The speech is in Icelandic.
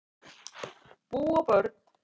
Bú og börn